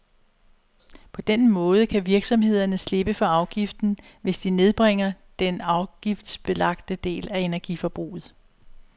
På den måde kan virksomhederne slippe for afgiften, hvis de nedbringer den afgiftsbelagte del af energiforbruget.